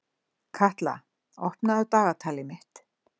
Katla, opnaðu dagatalið mitt.